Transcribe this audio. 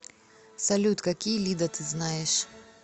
салют какие лида ты знаешь